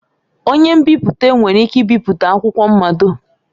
Onye nbipute nwere ike ibipụta akwụkwọ mmado.